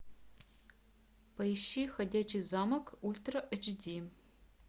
поищи ходячий замок ультра эйч ди